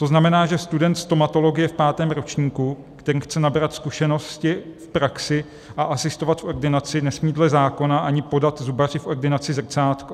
To znamená, že student stomatologie v pátém ročníku, který chce nabrat zkušenosti v praxi a asistovat v ordinaci, nesmí dle zákona ani podat zubaři v ordinaci zrcátko.